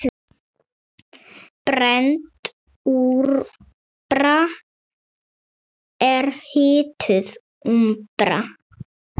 Brennd úmbra er hituð úmbra.